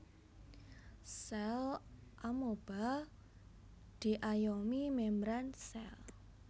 Sèl amoeba diayomi mèmbran sèl